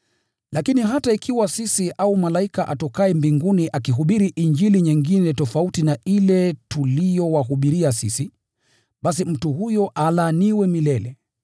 Lakini hata ikiwa sisi au malaika atokaye mbinguni akihubiri Injili nyingine tofauti na ile tuliyowahubiria sisi, basi mtu huyo alaaniwe milele!